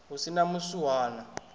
hu si na muswuhana a